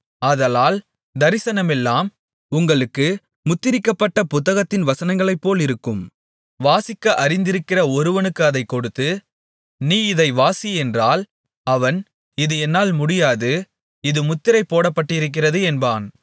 ஆதலால் தரிசனமெல்லாம் உங்களுக்கு முத்திரிக்கப்பட்ட புத்தகத்தின் வசனங்களைப்போலிருக்கும் வாசிக்க அறிந்திருக்கிற ஒருவனுக்கு அதைக் கொடுத்து நீ இதை வாசி என்றால் அவன் இது என்னால் முடியாது இது முத்திரை போடப்பட்டிருக்கிறது என்பான்